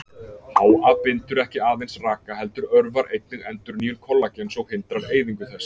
HA bindur ekki aðeins raka heldur örvar einnig endurnýjun kollagens og hindrar eyðingu þess.